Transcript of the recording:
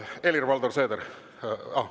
Helir-Valdor Seeder!